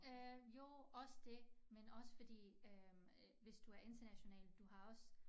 Øh jo også det men også fordi øh hvis du er international du har også